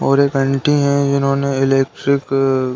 और एक आंटी हैं जिन्होंने इलेक्ट्रिक --